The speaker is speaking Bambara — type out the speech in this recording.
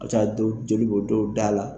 A bɛ taa dow jeli bɔ dɔw da la